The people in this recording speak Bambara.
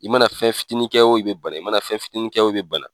I mana fɛn fitini kɛ o i bɛ bana i mana fɛn fitini kɛ o i bɛ bana.